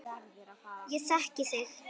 Ég þekki þig.